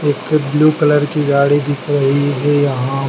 एक blue colour की गाड़ी दिख रही है यहां।